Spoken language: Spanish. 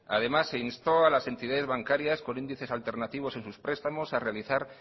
además se instó a las entidades bancarias con índices alternativos en sus prestamos a realizar